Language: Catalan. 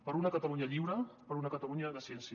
per una catalunya lliure per una catalunya de ciència